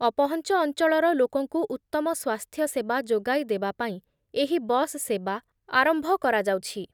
ଅପହଞ୍ଚ ଅଞ୍ଚଳର ଲୋକଙ୍କୁ ଉତ୍ତମ ସ୍ଵାସ୍ଥ୍ୟସେବା ଯୋଗାଇ ଦେବା ପାଇଁ ଏହି ବସ୍ ସେବା ଆରମ୍ଭ କରାଯାଉଛି ।